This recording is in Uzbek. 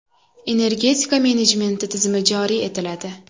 Energetika menejmenti tizimi joriy etiladi.